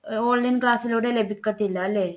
online class ലൂടെ ലഭിക്കത്തില്ല അല്ലേ?